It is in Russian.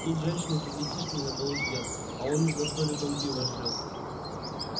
тут женщины с ребятишками на полу сидят а он один за столиком пиво жрёт